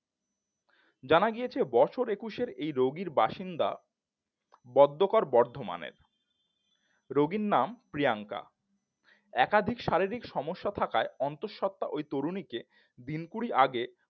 জানা গিয়েছে বছর একুশের এইরোগীর বাসিন্দা বর্ধমানে রোগীর নাম প্রিয়াঙ্কা একাধিক শারীরিক সমস্যা থাকায় অন্তঃসত্ত্বা ওই তরুণীকে দিনকুড়ি আগে